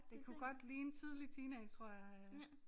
Det kunne godt ligne tidlig teenage tror jeg øh